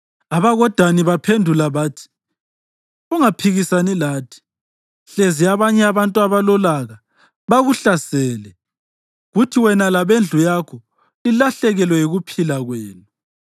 AbakoDani baphendula bathi, “Ungaphikisani lathi, hlezi abanye abantu abalolaka bakuhlasele, kuthi wena labendlu yakho lilahlekelwe yikuphila kwenu.”